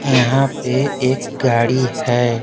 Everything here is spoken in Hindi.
यहाँ पे एक गाड़ी है।